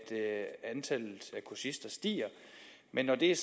kursister stiger men når det er